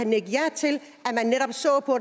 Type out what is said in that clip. nikke ja til